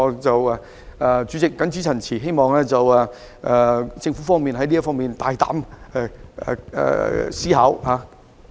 主席，我謹此陳辭，希望政府在這方面可以大膽思考。